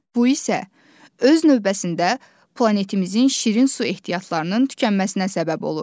Bu isə öz növbəsində planetimizin şirin su ehtiyatlarının tükənməsinə səbəb olur.